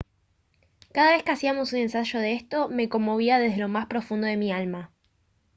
cada vez que hacíamos un ensayo de esto me conmovía desde lo más profundo de mi alma